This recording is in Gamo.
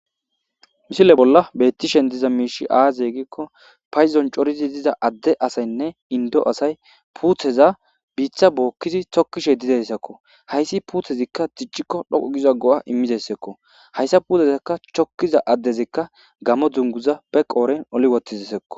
misile bolla bettishen diza miishi aazegikko payzon coridi diza adde asaynne indo asay puutheza biitha bookkizi tokkishe dizeyssakko hayssi puuthezikka ticcikko dhoqu giza go7a immizessekko hayssa puudezakka chokkiza addezikka gamo dzunguza be qooren oli wottizssekko